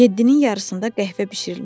Yeddinin yarısında qəhvə bişirilmişdi.